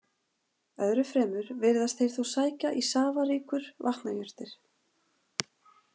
Öðru fremur virðast þeir þó sækja í safaríkur vatnajurtir.